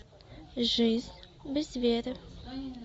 жизнь без веры